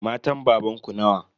Matan babanku nawa?